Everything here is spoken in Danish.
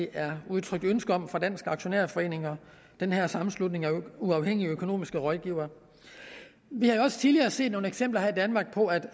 er udtrykt ønske om fra dansk aktionærforening og den her sammenslutning af uafhængige økonomiske rådgivere vi har også tidligere set nogle eksempler her i danmark på at